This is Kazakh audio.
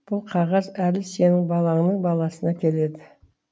бұл қағаз әлі сенің балаңның баласына келеді